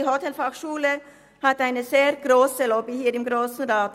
Die Hotelfachschule hat hier im Grossen Rat eine sehr grosse Lobby.